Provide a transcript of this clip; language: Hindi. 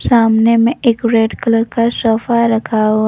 सामने में एक रेड कलर का सोफा रखा हुआ।